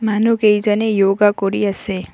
মনুহকেইজনে য়োগা কৰি আছে।